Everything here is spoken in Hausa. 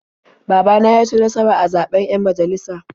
Baba na ya ci nasara a zaɓen 'yan majalisa.